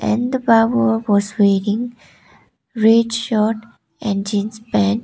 and the wearing red shirt and jeans pant.